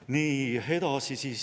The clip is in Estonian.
Nii, edasi.